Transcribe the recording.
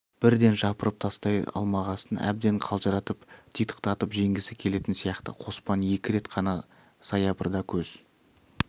бірден жапырып тастай алмағасын әбден қалжыратып титықтатып жеңгісі келетін сияқты қоспан екі рет қана саябырда көз